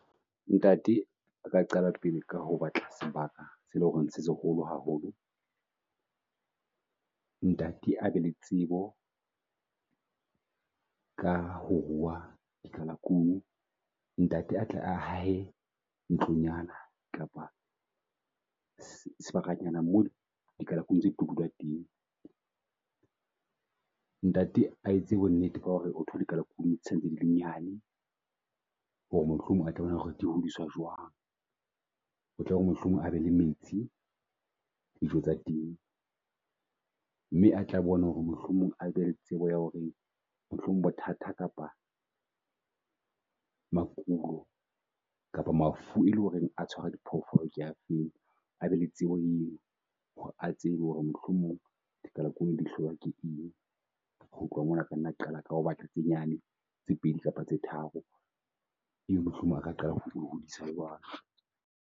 Ntate a ka qala pele ka hobatla sebaka se le horeng se seholo haholo, ntate abe le tsebo ka ho ruha di kalakunu. Ntate a hae ntlong nyana kapa sebakanyana moo di kalakunu tseo ditlo dula teng. Ntate a etse bo nnete ka hore o thole kalakunu santse dile nyane, hore mohlomong a tla bona hore di hodiswa jwang. Hotlore mohlomong a be le metsi, dijo tsa teng, mme a tla bona hore mohlomong a be le tsebo ya hore mohlomong bothata kapa maikulo kapa mafu e leng horeng a tshwara diphoofolo kea feng. Abe le tsebo eno hore a tsebe hore mohlomong di kalakunu di hlolwa ke eng. Ho tloha mona aka nna qala ka ho batla tse nyane tse pedi kapa tse tharo, ebe mohlomong a ka qala ho ngodisa jwalo.